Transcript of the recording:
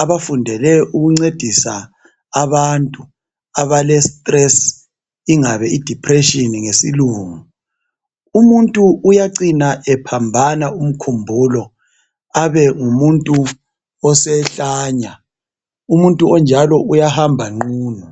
abafundele ukuncedisa abantu abale stress, ingabe i depression ngesilungu, umuntu uyacina ephambana umkhumbulo abe ngumuntu osehlanya. Umuntu onjalo uyahamba nqunu.